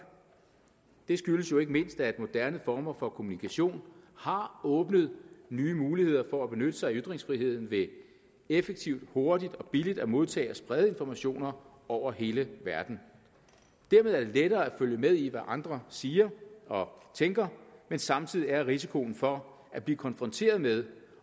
det skyldes ikke mindst at moderne former for kommunikation har åbnet nye muligheder for at benytte sig af ytringsfriheden ved effektivt hurtigt og billigt at modtage og sprede informationer over hele verden dermed er det lettere at følge med i hvad andre siger og tænker men samtidig er risikoen for at blive konfronteret med